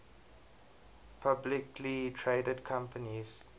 publicly traded companies